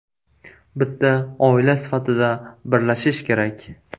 Bitta oila sifatida birlashish kerak.